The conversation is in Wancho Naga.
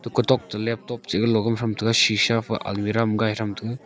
kotok to laptop chihga logol tham taiga shisha fai almirah ham ngai taiga.